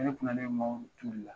Ne de kun nalen mɔgɔw ka ciw de la